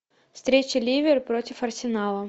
встреча ливера против арсенала